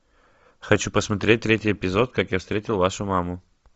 хочу посмотреть третий эпизод как я встретил вашу маму